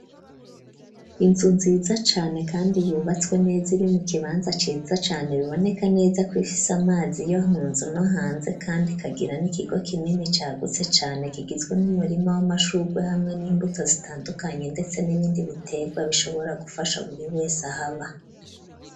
Inzu nziza cane, kandi yubatswe neza iri mu kibanza ciza cane, biboneka neza kwifise amazi yo munzu no hanze, kandi ikagira n'ikigo kinini cagutse cane, kigizwe n'umurima w'amashurugwe, hamwe n'imbuto zitandukanye ndetse n'ibindi bitegwa bishobora gufasha buri wese ahaba.